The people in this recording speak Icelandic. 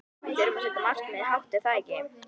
Við þurfum að setja markmiðin hátt er það ekki?